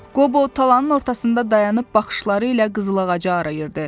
Qobo talanın ortasında dayanıb baxışları ilə qızıl ağacı arayırdı.